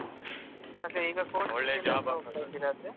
ಅದೆ ಈಗ coaching ಗೆ ಹೋಗ್ತಾ ಇದ್ದೀರಾ ಹಾಗಾದ್ರೆ